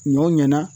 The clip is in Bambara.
Ɲɔ ɲɛna